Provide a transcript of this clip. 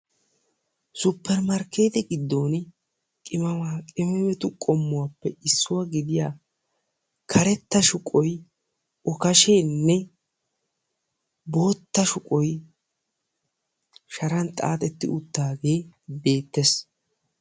suppermarkeettiya giddon qimemaaqimeme qomuwappe issuwa giddiya karetta shuqqoy okasheene bootta shuqqoy sharan xaaxetti utaagee beetees.